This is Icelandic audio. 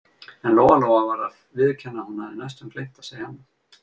En Lóa-Lóa varð að viðurkenna að hún hafði næstum gleymt að segja annað.